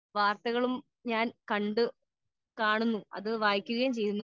speaker 2 ചെറിയ ചെറിയ ലേഖനങ്ങളും ഞാൻ കാണുന്നു അത് വായിക്കുകയും ചെയ്യുന്നു